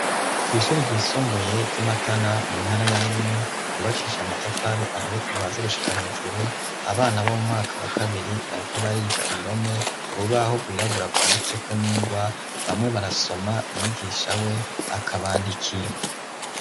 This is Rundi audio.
Kw'ishuri ryisumbuye ry'i Matana mu ntara ya Bururi ryubakishije amatafari ahiye kuva hasi gushika hejuru, abana bo mu mwaka wa kabiri bariko bariga indome, urubaho rwirabura rwanditseko n'ingwa bamwe barasoma mwigisha we akabandikira.